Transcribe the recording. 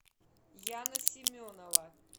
яна семенова